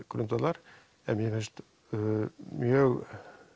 grundvallar en mér finnst mjög